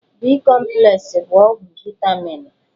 B-kọmplesị bụ ọgwụ vaịtaminụ.